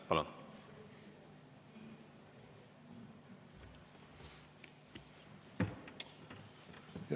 Palun!